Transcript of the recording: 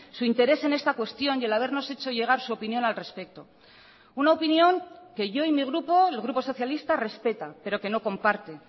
su interés en esta cuestión y el habernos hecho llegar su opinión al respecto una opinión que yo y mi grupo el grupo socialista respeta pero que no comparte